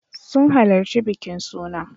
Sun halarci bikin suna.